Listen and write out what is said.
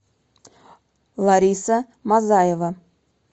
лариса мазаева